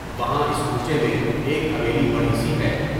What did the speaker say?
وہاں اس کوچے میں ایک حویلی بڑی سی ہے۔